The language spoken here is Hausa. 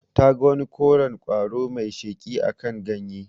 Ta ga wani koren ƙwaro mai sheƙi akan ganye.